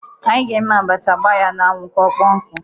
Anyị ga-eme abacha gbaa ya n'anwụ ka ọkpọọ nkụ.